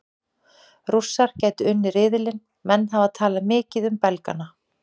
Rússar gætu unnið riðilinn Menn hafa talað mikið um Belgana.